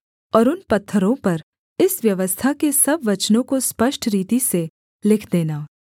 और उन पत्थरों पर इस व्यवस्था के सब वचनों को स्पष्ट रीति से लिख देना